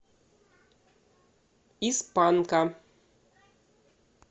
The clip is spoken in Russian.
из панка